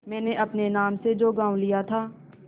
मैंने अपने नाम से जो गॉँव लिया था